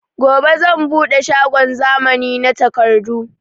Gobe zan buɗe shagon zamani na takardu